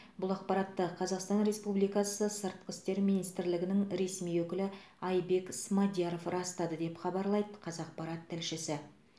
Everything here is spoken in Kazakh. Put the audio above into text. бұл ақпаратты қазақстан республикасы сыртқы істер министрлігінің ресми өкілі айбек смадияров растады деп хабарлайды қазақпарат тілшісі